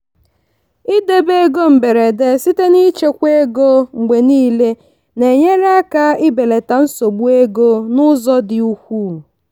idebe ego mberede site n'ichekwa ego mgbe niile na-enyere aka ibelata nsogbu ego n'ụzọ dị ukwuu.